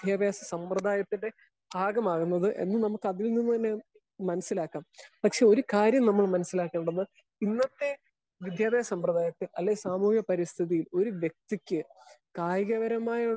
speaker 1 വിദ്യാഭ്യാസ സമ്പ്രദായത്തിന്റെ ഒരു ഭാഗമാകുന്നത് എന്ന് നമുക്ക് അതിൽ നിന്ന് തന്നെ മനസിലാക്കാം പക്ഷെ ഒരു കാര്യം നമ്മൾ മനസ്സിലാക്കേണ്ടത് ഇന്നത്തെ വിദ്യാഭ്യാസ സമ്പ്രദായത്തിൽ അല്ലെങ്കിൽ സാമൂഹിക പരിസ്ഥിതിയിൽ ഒരു വ്യക്തിക്ക് കായികപരമായ